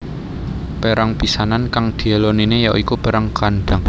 Perang pisanan kang diélonine ya iku Perang Khandaq